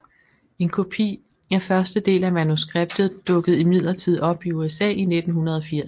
En kopi af første del af manuskriptet dukkede imidlertid op i USA i 1980